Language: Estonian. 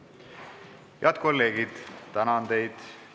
Head kolleegid, tänan teid!